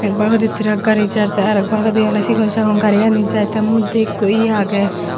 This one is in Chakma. bahudi trak gari jaar te aro ek bagidi oley sigon sagon gari ani jaar te moddye ikko ye agey.